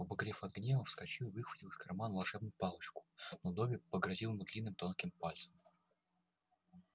побагровев от гнева вскочил и выхватил из кармана волшебную палочку но добби погрозил ему длинным тонким пальцем